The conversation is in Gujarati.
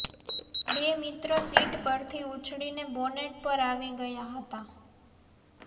બે મિત્ર સીટ પરથી ઊછળીને બોનેટ પર આવી ગયા હતા